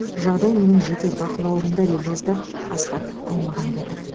жағдай менің жеке бақылауымда деп жазды асхат аймағамбетов